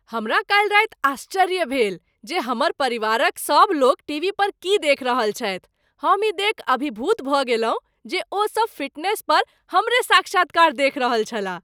हमरा काल्हि राति आश्चर्य भेल जे हमर परिवारक सभ लोक टीवी पर की देखि रहल छथि, हम ई देखि अभिभूत भऽ गेलहुँ जे ओ सब फिटनेस पर हमरे साक्षात्कार देखि रहल छलाह।